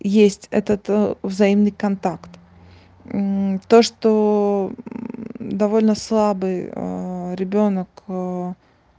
есть этот взаимный контакт то что довольно слабый ребёнок